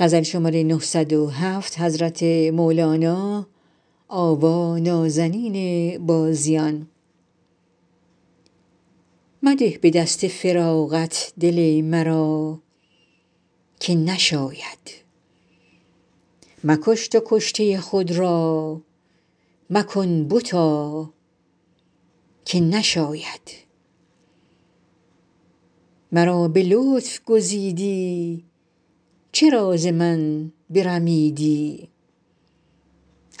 مده به دست فراقت دل مرا که نشاید مکش تو کشته خود را مکن بتا که نشاید مرا به لطف گزیدی چرا ز من برمیدی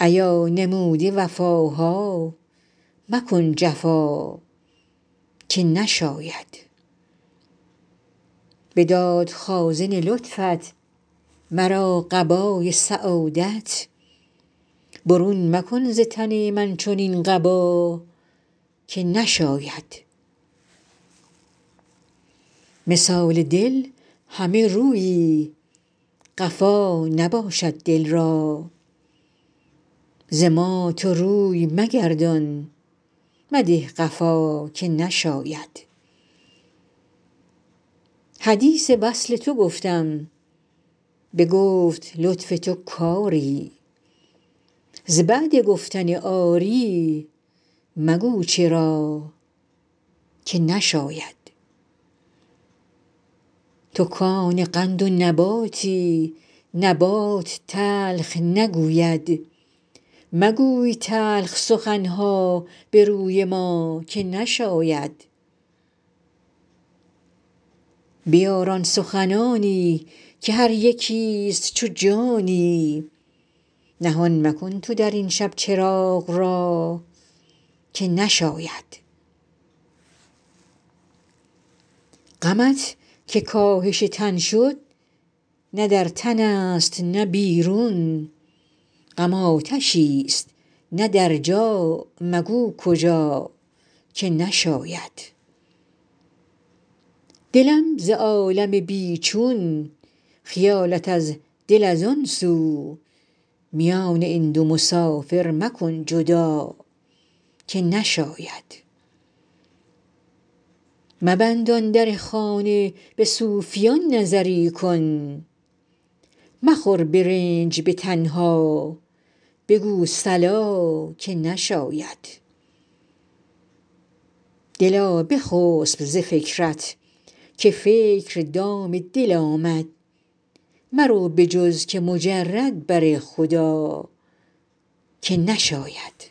ایا نموده وفاها مکن جفا که نشاید بداد خازن لطفت مرا قبای سعادت برون مکن ز تن من چنین قبا که نشاید مثال دل همه رویی قفا نباشد دل را ز ما تو روی مگردان مده قفا که نشاید حدیث وصل تو گفتم بگفت لطف تو کری ز بعد گفتن آری مگو چرا که نشاید تو کان قند و نباتی نبات تلخ نگوید مگوی تلخ سخن ها به روی ما که نشاید بیار آن سخنانی که هر یکیست چو جانی نهان مکن تو در این شب چراغ را که نشاید غمت که کاهش تن شد نه در تنست نه بیرون غم آتشیست نه در جا مگو کجا که نشاید دلم ز عالم بی چون خیالت از دل از آن سو میان این دو مسافر مکن جدا که نشاید مبند آن در خانه به صوفیان نظری کن مخور به رنج به تنها بگو صلا که نشاید دلا بخسب ز فکرت که فکر دام دل آمد مرو به جز که مجرد بر خدا که نشاید